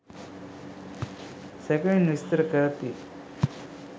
සැකෙවින් විස්තර කරති